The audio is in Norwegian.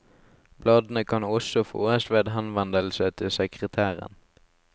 Bladene kan også fåes ved henvendelse til sekretæren.